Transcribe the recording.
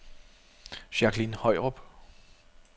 Jacqueline Højrup